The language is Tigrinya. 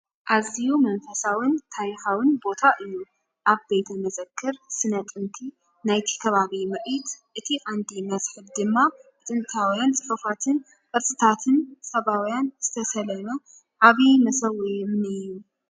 ኣዝዩ መንፈሳውን ታሪኻውን ቦታ እዩ! ኣብ ቤተ መዘክር ስነ ጥንቲ ናይቲ ከባቢ ምርኢት። እቲ ቀንዲ መስሕብ ድማ ብጥንታውያን ጽሑፋትን ቅርጻታትን ሳባውያን ዝተሰለመ ዓቢ መሰውኢ እምኒ እዩ።